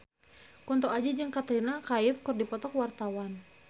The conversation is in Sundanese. Kunto Aji jeung Katrina Kaif keur dipoto ku wartawan